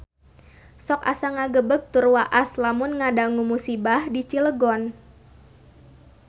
Sok asa ngagebeg tur waas lamun ngadangu musibah di Cilegon